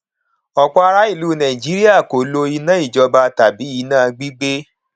ọpọ ará ìlú nàìjíríà kò lo iná ìjọba tàbí iná gbígbé